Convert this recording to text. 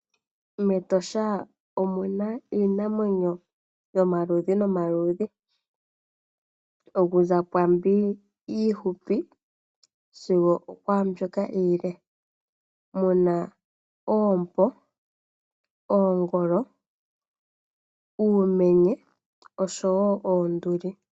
Metosha omuna iinamwenyo yomaludhi nomaludhi okuza kwaambi iihupi sigo okwaa mbyoka iile muna oompo, oongolo, uumenye oshowo oonduli.